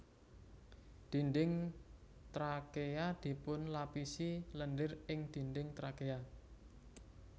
Dinding trakea dipunlapisi lendir ing dinding trakea